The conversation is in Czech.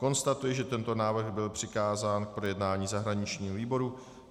Konstatuji, že tento návrh byl přikázán k projednání zahraničnímu výboru.